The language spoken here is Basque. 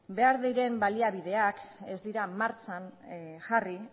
behar diren baliabideak ez dira martxan jarri